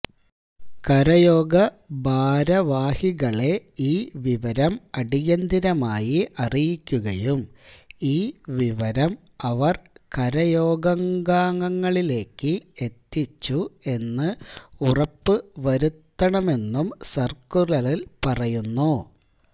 കരയോഘ ഭാരവാഹികളെ ഈ വിവരം അടിയന്തരമായി അറിയിക്കുകയും ഈ വിവരം അവര് കരയോഗാംഗങ്ങളിലേക്ക് എത്തിച്ചു എന്ന് ഉറപ്പുവരുത്തണമെന്നും സര്ക്കുലറില് പറയുന്നു